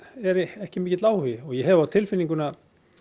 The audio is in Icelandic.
ekki mikill áhugi og ég hef það á tilfinningunni að